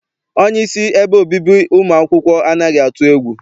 Onyeisi ebe obibi ụmụ akwụkwọ anaghị atụ egwu.